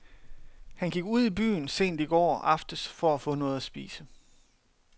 Han gik ud i byen sent i går aftes for at få noget at spise.